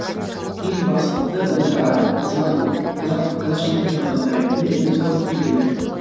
ең бастысы өзара біз ғана қазақ қазақша сөйлейтін қазақтар ретінде біз оны күтудеміз